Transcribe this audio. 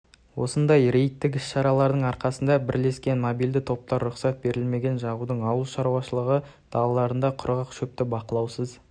осындай рейдік іс-шаралардың арқасында бірлескен мобильді топтар рұқсат берілмеген жағудың ауыл шаруашылығы далаларында құрғақ шөпті бақылаусыз